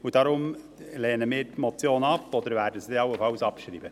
Deshalb lehnen wir die Motion ab oder werden sie allenfalls abschreiben.